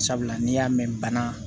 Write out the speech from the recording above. Sabula n'i y'a mɛn bana